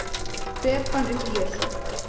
Hver fann upp Jesú?